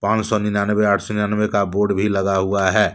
पान सौ निन्यानवे आठ सौ निन्यानवे का बोर्ड भी लगा हुआ है।